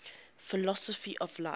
philosophy of life